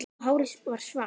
Og hárið varð svart